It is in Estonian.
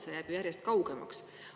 See jääb järjest kaugemaks.